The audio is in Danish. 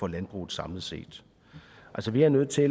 landbruget samlet set altså vi er nødt til